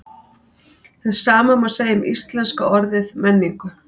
Hið sama má segja um íslenska orðið menningu.